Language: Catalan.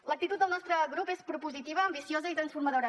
l’actitud del nostre grup és propositiva ambiciosa i transformadora